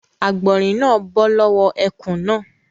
Àgbọ̀rín náà bọ́ lọ́wọ́ ẹkùn náà.